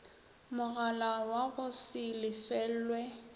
mogala wa go se lefelwe